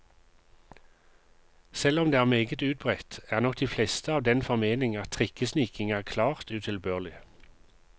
Selv om det er meget utbredt, er nok de fleste av den formening at trikkesniking er klart utilbørlig.